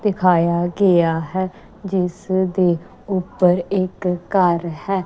ਦਿਖਾਇਆ ਗਿਆ ਹੈ ਜਿਸ ਦੇ ਉੱਪਰ ਇੱਕ ਘਰ ਹੈ।